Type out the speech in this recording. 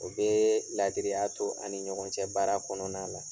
O bee laadiriya to an' ni ɲɔgɔn cɛ baara kɔnɔna la.